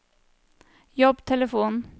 jobbtelefon